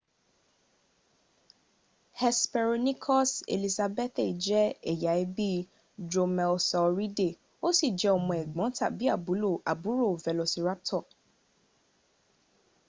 hesperonychus elizabethae je eya ebi dromaeosauridae o si je omo egbon tabi aburo velociraptor